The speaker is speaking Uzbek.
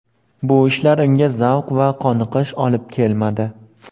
Bu ishlar unga zavq va qoniqish olib kelmadi.